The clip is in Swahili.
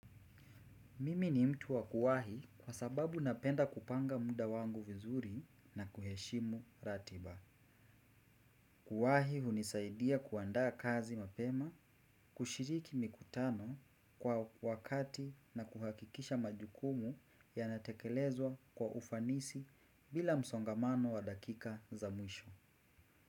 Mimi ni mtu wa kuwahi kwa sababu napenda kupanga muda wangu vizuri na kuheshimu ratiba. Kuwahi hunisaidia kuandaa kazi mapema, kushiriki mikutano kwa wakati na kuhakikisha majukumu yanatekelezwa kwa ufanisi bila msongamano wa dakika za mwisho.